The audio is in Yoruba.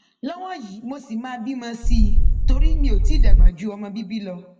lọwọ yìí mo ṣì máa bímọ sí i i torí mi ò tí ì dàgbà ju ọmọ bíbí lọ